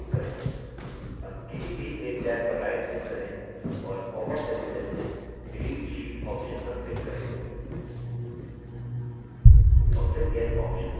अब किसी भी एक टैब पर right click करें और popअप menu में से delete sheet option पर click करें और फिर yes option click करें